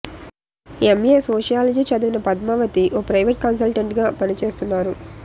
MA sociology చదివిన పద్మావతి ఓ private కన్సల్టెంట్గా పని చేస్తున్నారు